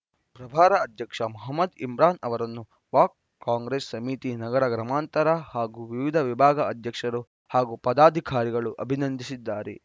ಪ್ರಭಾರ ಅಧ್ಯಕ್ಷ ಮಹಮದ್‌ ಇಮ್ರಾನ್‌ ಅವರನ್ನು ಬ್ಲಾಕ್‌ ಕಾಂಗ್ರೆಸ್‌ ಸಮಿತಿ ನಗರ ಗ್ರಾಮಾಂತರ ಹಾಗೂ ವಿವಿಧ ವಿಭಾಗ ಅಧ್ಯಕ್ಷರು ಹಾಗೂ ಪದಾಧಿಕಾರಿಗಳು ಅಭಿನಂದಿಸಿದ್ದಾರೆ